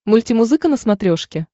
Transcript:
мультимузыка на смотрешке